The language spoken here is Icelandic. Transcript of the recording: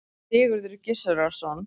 Sigurður Gizurarson.